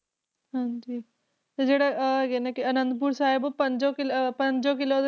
ਹਾਂਜੀ ਤੇ ਜਿਹੜਾ ਉਹ ਹੈਗੇ ਨੇ ਕਿ ਆਨੰਦਪੁਰ ਸਾਹਿਬ ਪੰਜੋ ਕਿਲ੍ਹ~ ਅਹ ਪੰਜੇ ਕਿਲ੍ਹੇ ਦੇ